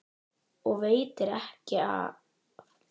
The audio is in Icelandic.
Og ekki veitir af.